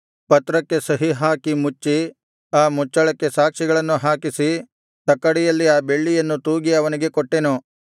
ಪತ್ರಕ್ಕೆ ಸಹಿ ಹಾಕಿ ಮುಚ್ಚಿ ಆ ಮುಚ್ಚಳಕ್ಕೆ ಸಾಕ್ಷಿಗಳನ್ನು ಹಾಕಿಸಿ ತಕ್ಕಡಿಯಲ್ಲಿ ಆ ಬೆಳ್ಳಿಯನ್ನು ತೂಗಿ ಅವನಿಗೆ ಕೊಟ್ಟೆನು